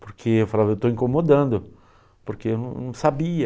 porque eu falava, eu estou incomodando, porque eu não não sabia.